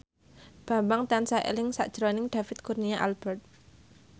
Bambang tansah eling sakjroning David Kurnia Albert